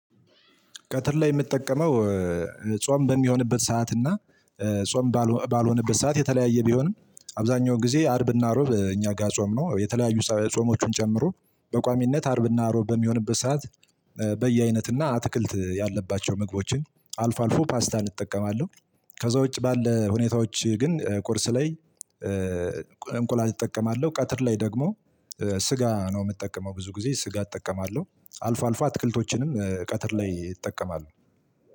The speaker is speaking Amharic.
ቀትር ላይ የምጠቀመው ጾም በሚሆንበት ሰዓት እና ጾም ባልሆነበት ሰዓት የተለያየ ቢሆንም አብዛኛውን ጊዜ አርብና እሮብ እኛ ጋር ጾም ነው የተለያዩ ጾሞችን ጨምሮ በቋሚነት አርብና እሮብ በሚሆንበት ሰዓት በየአይነትና አትክልት ያለባቸው ምግቦችን አልፎ አልፎ ፓስታን እጠቀማለሁ። ከዛ ውጪ ባለ ሁኔታዎች ግን ቁርስ ላይ። እንቁላል እጠቀማለሁ ቀትር ላይ ደግሞ ስጋ ነው የምጠቀመው ብዙ ጊዜ ስጋ እጠቀማለሁ አልፎ አልፎ አትክልቶችንም ቀትር ላይ እጠቀማለሁ።